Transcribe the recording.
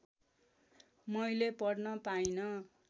मैले पढ्न पाइन